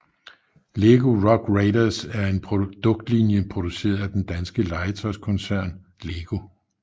Lego Rock Raiders var en produktlinje produceret af den danske legetøjskoncern LEGO